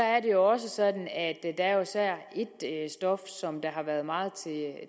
er det også sådan at der jo især er ét stof som har været meget